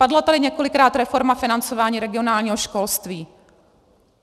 Padla tady několikrát reforma financování regionálního školství.